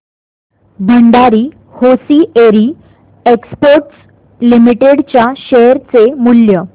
Bhandari hosiery exports limited च्या share चे मूल्य